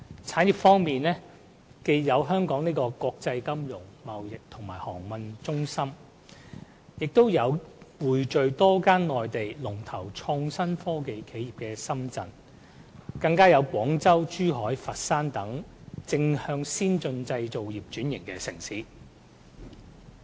產業方面，既有香港這個國際金融、貿易和航運中心，也有匯聚多間內地創新科技龍頭企業的深圳，更有廣州、珠海、佛山等正在向先進製造業轉型的城市。